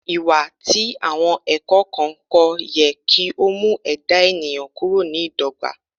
Iwa ti awọn ẹkọ kan ko yẹ ki o mu ẹda eniyan kuro ni idogba